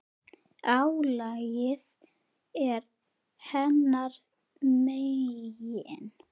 Álagið er hennar megin.